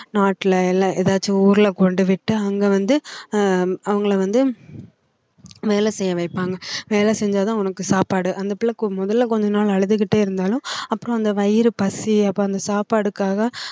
நாட்டுல எல்லா ஏதாச்சும் ஊர்ல கொண்டு விட்டு அங்க வந்து ஆஹ் அவங்களை வந்து வேலை செய்ய வைப்பாங்க வேலை செஞ்சாதான் உனக்கு சாப்பாடு அந்த பிள்ளை கு~ முதல்ல கொஞ்ச நாள் அழுதுகிட்டே இருந்தாலும் அப்பறம் அந்த வயிறு பசி அப்போ அந்த சாப்பாடுக்காக